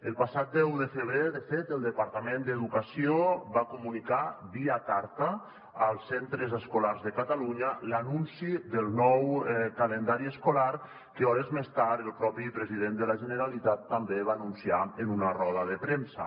el passat deu de febrer de fet el departament d’educació va comunicar via carta als centres escolars de catalunya l’anunci del nou calendari escolar que hores més tard el propi president de la generalitat també va anunciar en una roda de premsa